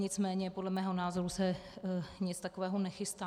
Nicméně podle mého názoru se nic takového nechystá.